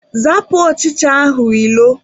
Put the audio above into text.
Zapụ ọchịcha ahụ ilo!